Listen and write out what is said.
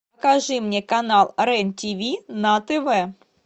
покажи мне канал рен тиви на тв